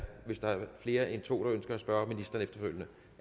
flere end to der ønsker at spørge ministeren efterfølgende